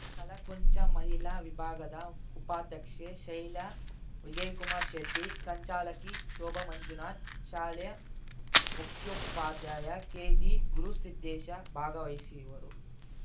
ಕಲಾಕುಂಚ ಮಹಿಳಾ ವಿಭಾಗದ ಉಪಾಧ್ಯಕ್ಷೆ ಶೈಲಾ ವಿಜಯಕುಮಾರ್ ಶೆಟ್ಟಿ ಸಂಚಾಲಕಿ ಶೋಭಾ ಮಂಜುನಾಥ್ ಶಾಲೆ ಮುಖ್ಯೋಪಾಧ್ಯಾಯ ಕೆಜಿಗುರುಸಿದ್ದೇಶ ಭಾಗವಹಿಸಿವರು